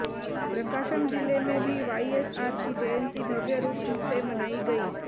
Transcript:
प्रकाशम जिले में भी वाईएसआर की जयंती भव्य रूप से मनाई गयी